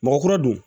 Mɔgɔ kuraw don